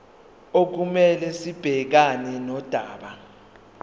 okumele sibhekane nodaba